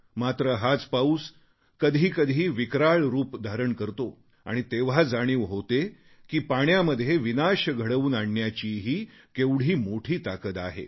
मात्र हाच पाऊस कधी कधी विक्राळ रूप धारण करतो आणि तेव्हा जाणीव होते की पाण्यामध्ये विनाश घडवून आणण्याचीही केवढी मोठी ताकद आहे